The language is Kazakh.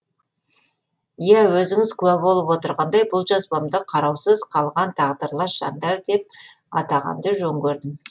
иә өзіңіз куә болып отырғандай бұл жазбамды қараусыз қалған тағдырлас жандар деп атағанды жөн көрдім